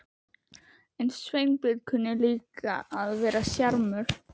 En Sveinbjörn kunni líka að vera sjarmör.